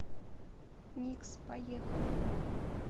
никс поехали